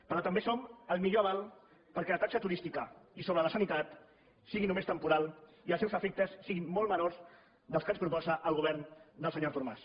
però també som el millor aval perquè la taxa turística i sobre la sanitat sigui només temporal i els seus efectes siguin molt menors dels que ens proposa el govern del senyor artur mas